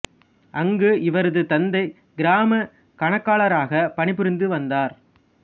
அங்கு இவரது தந்தை கிராமக் கணக்காளாராக பணி புரிந்து வந்தார்